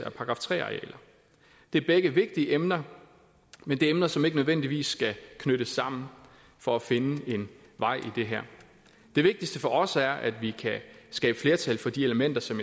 af § tre arealer det er begge vigtige emner men det er emner som ikke nødvendigvis skal knyttes sammen for at finde en vej i det her det vigtigste for os er at vi kan skabe flertal for de elementer som